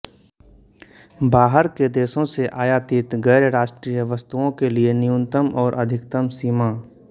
बाहर के देशों से आयातित गैरराष्ट्रीय वस्तुओं के लिये न्यूनतम और अधिकतम सीमा